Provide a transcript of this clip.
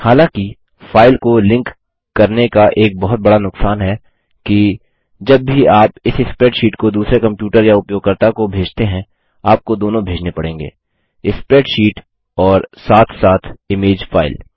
हालाँकि फाइल को लिंक करने का एक बहुत बड़ा नुक्सान है कि जब भी आप इस स्प्रैडशीट को दूसरे कम्प्यूटर या उपयोगकर्ता को भेजते हैं आपको दोनों भेजने पड़ेंगे स्प्रैडशीट और साथ साथ इमेज फाइल